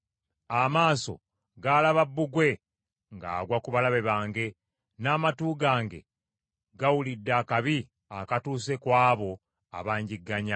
Amaaso gaalaba bbugwe ng’agwa ku balabe bange; n’amatu gange gawulidde akabi akatuuse ku abo abanjigganya.